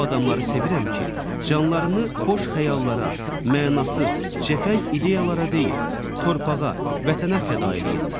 O adamları sevirəm ki, canlarını boş xəyallara, mənasız, cəfəng ideyalara deyil, torpağa və vətənə fəda eləyirlər.